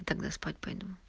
тогда спать пойду